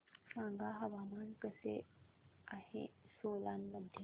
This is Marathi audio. सांगा हवामान कसे आहे सोलान मध्ये